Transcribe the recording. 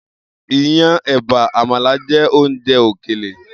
Iyán, è̩bà, àmàlà jé̩ oúnje̩ òkèlè